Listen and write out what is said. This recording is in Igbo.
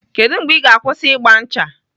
Kedụ mgbe Ị ga-akwụsị ịgba ncha?